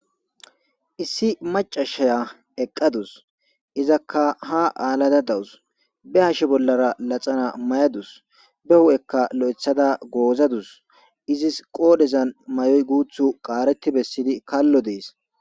issi macashaya eqqadus izakka ha aalada dawus be hashe bollara laxana may7adus be hu7ekka lo7ethada goozadus izis qoodhezan may7oy guuthu qaaretti bessidi kallo dees